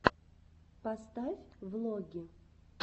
поставь влоги